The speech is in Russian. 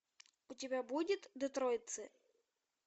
у тебя будет детройтцы